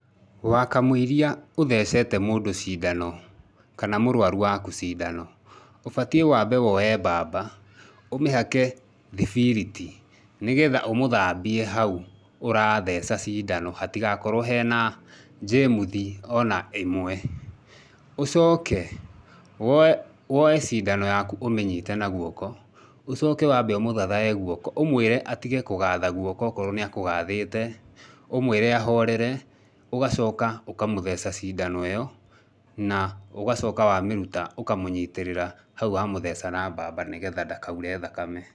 Wa kamũiria ũthecete mũndũ cindano kana mũrũaru waku cindano, ũbatiĩ waambe woye mbamba, ũmĩhake thibiriti nĩgetha ũmũthambie hau ũratheca cindano hatigakorwo hena njĩmuthi ona ĩmwe. Ũcoke, woye woye cindano yaku ũmĩnyite na guoko. Ũcoke waambe ũmũthathae guoko, ũmwĩre atige kũgatha guoko okorwo nĩ akũgathĩte, ũmwĩre ahorere, ũgacoka ũkamũtheca cindano ĩyo, na ũgacoka wamĩruta ũkamũnyitĩrĩra hau wa mutheca na mbamba nĩgetha ndakaure thakame.